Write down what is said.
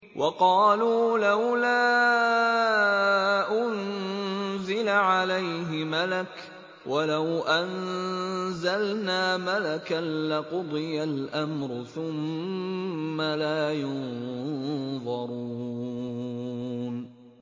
وَقَالُوا لَوْلَا أُنزِلَ عَلَيْهِ مَلَكٌ ۖ وَلَوْ أَنزَلْنَا مَلَكًا لَّقُضِيَ الْأَمْرُ ثُمَّ لَا يُنظَرُونَ